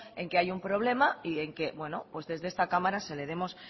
en que hay un problema y en que bueno desde esta cámara se le demos